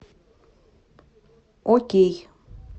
окей